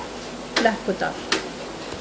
Flekkudal